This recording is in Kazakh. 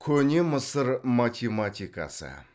көне мысыр математикасы